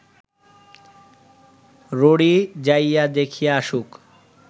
ররী যাইয়া দেখিয়া আসুক